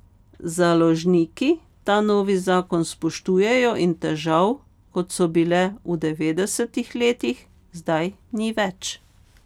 Založniki ta novi zakon spoštujejo in težav, kot so bile v devetdesetih letih, zdaj ni več.